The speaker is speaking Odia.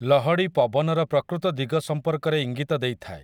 ଲହଡ଼ି ପବନର ପ୍ରକୃତ ଦିଗ ସମ୍ପର୍କରେ ଇଙ୍ଗିତ ଦେଇଥାଏ ।